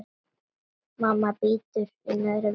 Mamma bítur í neðri vörina.